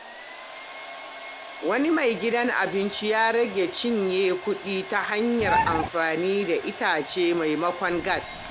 Wani mai gidan abinci ya rage cinye kuɗi ta hanyar amfani da itace maimakon gas.